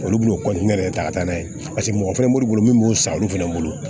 Olu b'u de ta ka taa n'a ye paseke mɔgɔ fɛnɛ b'olu bolo min b'u san olu fɛnɛ bolo